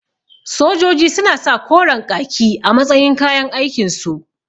Sojoji suna sa koren ƙaki a matsayin kayan aikin su